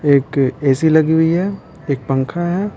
एक एसी लगी हुई है एक पंखा है।